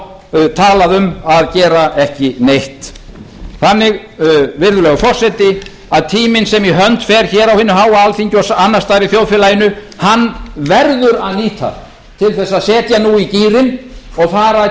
tala um að gera ekki neitt virðulegi forseti tímann sem í hönd fer á hinu háa alþingi og annars staðar í þjóðfélaginu verður að nýta til að setja nú í gírinn og fara að